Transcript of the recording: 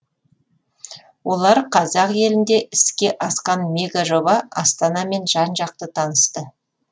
олар қазақ елінде іске асқан мегажоба астанамен жан жақты танысты